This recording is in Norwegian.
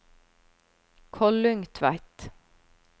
Kollungtveit